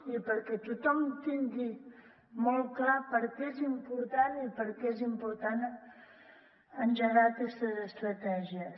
i perquè tothom tingui molt clar per què és important i per què és important engegar aquestes estratègies